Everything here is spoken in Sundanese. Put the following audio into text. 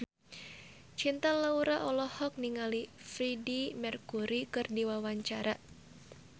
Cinta Laura olohok ningali Freedie Mercury keur diwawancara